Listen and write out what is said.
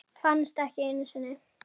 Finnast ekki einu sinni.